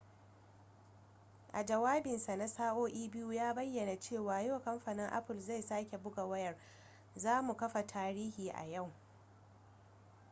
a jawabinsa na sa'o'i 2 ya bayyana cewa yau kamfanin apple zai sake buga wayar za mu kafa tarihi a yau